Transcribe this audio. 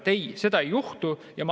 Ei, seda ei juhtu.